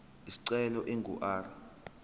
isicelo ingu r